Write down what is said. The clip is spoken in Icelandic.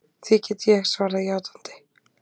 Því get ég svarað játandi.